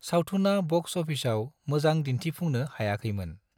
सावथुना बक्स अफिसाव मोजां दिन्थिफुंनो हायाखैमोन।